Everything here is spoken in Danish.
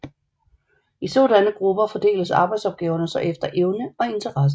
I sådanne grupper fordeles arbejdsopgaverne så efter evner og interesse